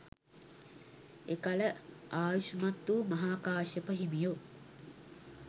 එකල ආයුෂ්මත් වූ මහාකාශ්‍යප හිමියෝ